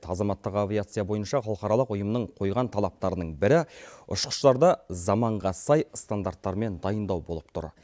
азаматтық авиация бойынша халықаралық ұйымның қойған талаптарының бірі ұшқыштарды заманға сай стандарттармен дайындау болып тұр